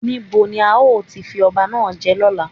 Ní bo ni a ó ti fi ọba náà jẹ lọ́la?